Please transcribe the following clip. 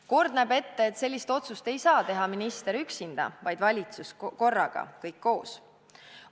Kord näeb ette, et sellist otsust ei saa teha minister üksinda, vaid valitsus korraga, kõik koos.